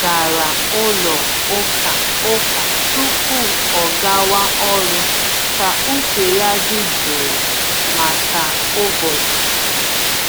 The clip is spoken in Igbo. Ọ gara ụlọ ụka ụka tupu ọgawa ọrụ ka uche ya dị jụụ maka ụbọchị.